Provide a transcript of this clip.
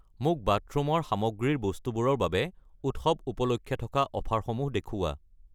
মোক বাথৰুমৰ সামগ্ৰী ৰ বস্তুবোৰৰ বাবে উৎসৱ উপলক্ষে থকা অফাৰসমূহ দেখুওৱা।